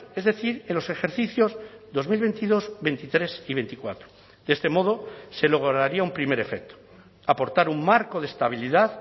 es decir en los ejercicios dos mil veintidós veintitrés y veinticuatro de este modo se lograría un primer efecto aportar un marco de estabilidad